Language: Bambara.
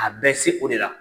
A bɛ se o de la.